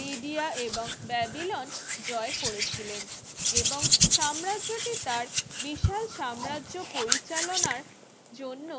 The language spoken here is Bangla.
লিডিয়া এবং ব্যাবিলন জয় করেছিলেন এবং সাম্রাজ্যটি তার বিশাল সাম্রাজ্য পরিচালনার জন্য